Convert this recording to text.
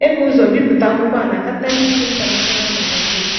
E bu ụzọ bipụta akwụkwọ a na Catalyst International Magazine.